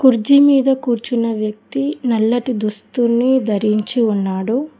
కుర్చీ మీద కూర్చున్న వ్యక్తి నల్లటి దుస్తుల్ని ధరించి ఉన్నాడు.